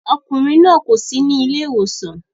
Ọkùnrin náà kò sí ní ilé ìwòsàn